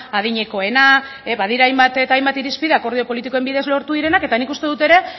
adinekoena badira hainbat eta hainbat irizpide akordio politikoen bidez lortu direnak eta nik uste dut ere